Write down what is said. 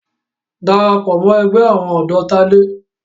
Darapọ̀ mọ́ ẹgbẹ́ àwọn ọ̀dọ́ Tádé!